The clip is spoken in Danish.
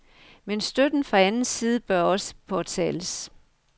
Men støtten fra anden side bør også påtales.